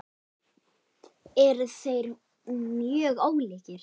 Eru þeir mjög ólíkir?